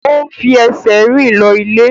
O n fi ẹsẹ̀ rìn lọ ilé.